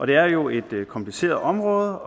det er jo et kompliceret område